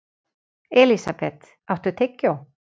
Elísabeth, áttu tyggjó?